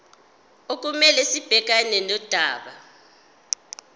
okumele sibhekane nodaba